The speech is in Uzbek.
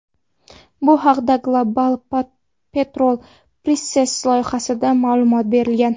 Bu haqda Global Petrol Prices loyihasida ma’lumot berilgan .